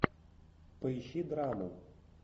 поищи драму